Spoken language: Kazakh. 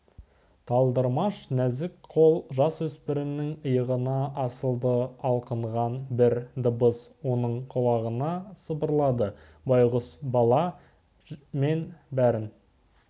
талдырмаш нәзік қол жасөспірімнің иығына асылды алқынған бір дыбыс оның құлағына сыбырлады байғұс бала мен бәрін